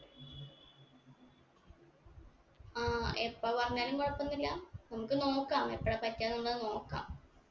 ആ എപ്പൊ പറഞ്ഞാലും കുഴപ്പൊന്നുല്ല നമ്മുക്ക് നോക്കാം എപ്പൊഴാ പറ്റാന്നുള്ളത് നോക്കാം